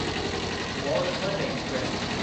मौर धवाज़ एक्सप्रेस